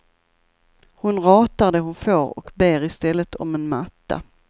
Hon ratar det hon får och ber i stället om en matta.